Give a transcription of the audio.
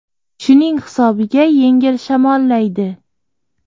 Shuning hisobiga yengil shamollaydi.